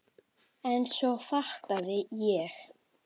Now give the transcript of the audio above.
En svo fattaði ég.